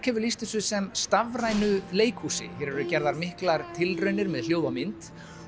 hefur lýst þessu sem stafrænu leikhúsi hér eru gerðar miklar tilraunir með hljóð og mynd